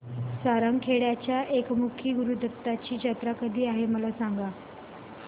सारंगखेड्याच्या एकमुखी दत्तगुरूंची जत्रा कधी आहे मला सांगा